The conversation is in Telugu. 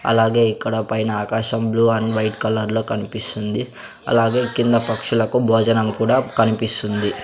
అలాగే ఇక్కడ పైన ఆకాశంలో బ్లూ అండ్ వైట్ కలర్లో కప్పిస్తుంది అలాగే ఈ కింద పక్షులకు భోజనము కూడా కనిపిస్తుంది.